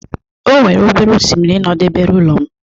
O nwere obere oshimiri nọdebere ụlọ m.